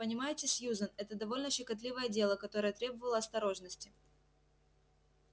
понимаете сьюзен это довольно щекотливое дело которое требовало осторожности